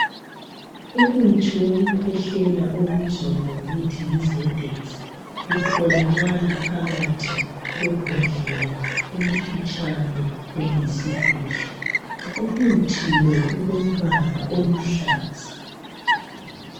umuthi wokukhwehlela obizwa ngokuthi yi ZEDEX otholakala phakathi kwembodlela elifitshana eliyisidudla umuthi lo ulombala oluhlaza